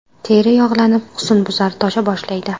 Teri yog‘lanib, husnbuzar tosha boshlaydi.